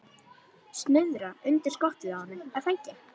Snuðra undir skottið á henni, er það ekki?